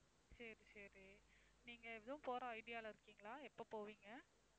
சரி, சரி. நீங்க எதுவும் போற idea ல இருக்கீங்களா? எப்ப போவீங்க?